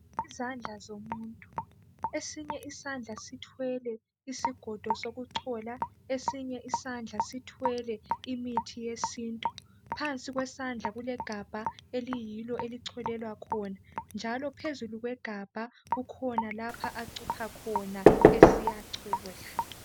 Izandla zomuntu, esinye isandla sithwele isigodo sokuchola, esinye isandla sithwele imithi yesintu phansi kwesandla kulegabha eliyilo elicholelwa khona njalo phezulu kwegabha kukhona lapha acupha khona es